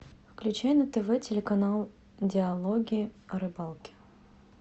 включай на тв телеканал диалоги о рыбалке